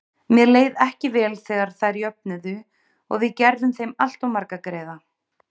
Mér leið ekki vel þegar þær jöfnuðu og við gerðum þeim alltof marga greiða.